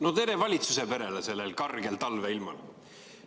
No tere valitsuse perele sellel kargel talveilmal!